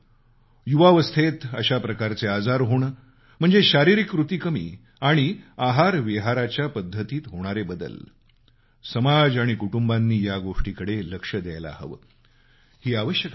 युवावस्थेत अशा प्रकारचे आजार होणं म्हणजे शारीरिक कृती कमी आणि आहारविहाराच्या पद्धतीत होणारे बदल समाज आणि कुटुंबांनी या गोष्टीकडे लक्ष द्यायला हवं ही आवश्यकता आहे